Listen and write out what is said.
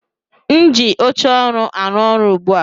M ji oche ọrụ arụ ọrụ ugbu a.